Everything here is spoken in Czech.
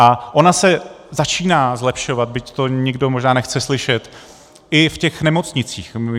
A ona se začíná zlepšovat, byť to nikdo možná nechce slyšet, i v těch nemocnicích.